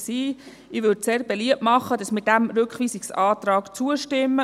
Ich würde sehr beliebt machen, dass wir diesem Rückweisungsantrag zustimmen.